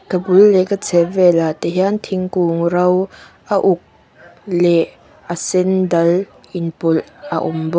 ka bul leh ka chheh vel ah te hian thingkung ro a uk leh a sen dal inpawlh a awm bawk.